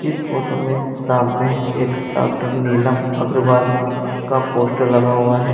इस फोटो में सामने एक डॉक्टर नीलम अग्रवाल का पोस्टर लगा हुआ है।